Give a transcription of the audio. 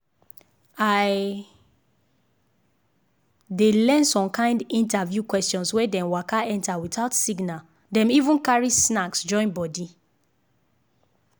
i dey learn some kind interview answers when dem waka enter without signal dem even carry snacks join body.